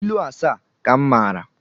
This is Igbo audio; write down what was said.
Ilu asaa ka m mara